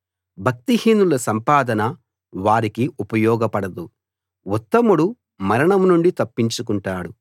భక్తిహీనుల సంపద వారికి ఉపయోగపడదు ఉత్తముడు మరణం నుండి తప్పించుకుంటాడు